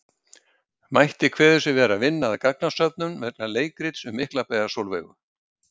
Mætti kveður sig vera að vinna að gagnasöfnun vegna leikrits um Miklabæjar-Sólveigu.